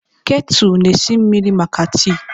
Ketu na esi mmiri maka tii.